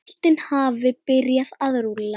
Boltinn hafi byrjað að rúlla.